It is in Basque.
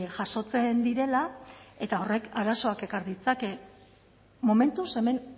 jasotzen direla eta horrek arazoak ekar ditzake momentuz hemen